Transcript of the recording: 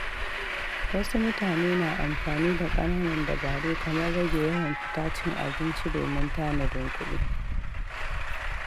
Wasu mutane na amfani da ƙananan dabaru kamar rage yawan fita cin abinci domin tanadin kuɗi.